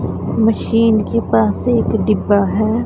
Machine के पास एक डिब्बा है।